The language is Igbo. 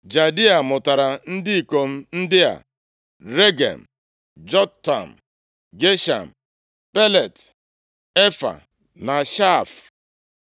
Jadia mụtara ndị ikom ndị a: Regem, Jotam, Gesham, Pelet, Efaa na Shaaf.